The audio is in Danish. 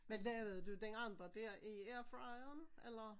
Men lavede du den andre dér i airfryeren? Eller